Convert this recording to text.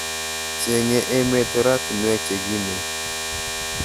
Cheng'e emet oratinwek che kimen